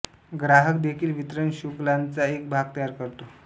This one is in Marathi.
ग्राहक देखील वितरण शृंखलाचा एक भाग तयार करतो